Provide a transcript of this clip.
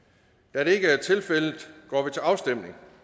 da det ikke er tilfældet går vi til afstemning